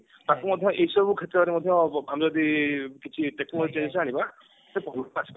ତାକୁ ମଧ୍ୟ ଏଇସବୁ କ୍ଷେତ୍ରରେ ମଧ୍ୟ ଆମେ ବି କିଛି technology ଜିନିଷ ଆଣିବା ଆସିପାରିବ